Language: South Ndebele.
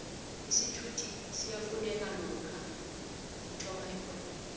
isithuthi siyafuneka lokha uthoma irhwebo